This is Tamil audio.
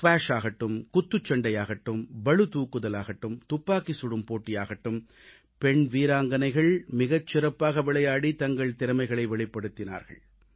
ஸ்க்வாஷாகட்டும் குத்துச்சண்டையாகட்டும் பளுதூக்குதலாகட்டும் துப்பாக்கி சுடும் போட்டியாகட்டும் பெண் வீராங்கனைகள் மிகச் சிறப்பாக விளையாடி தங்கள் திறமைகளை வெளிப்படுத்தினார்கள்